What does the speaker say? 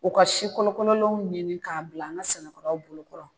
U ka si kolokololenw ɲini k'a bila an ka sɛnɛkɛlaw bolo kɔrɔ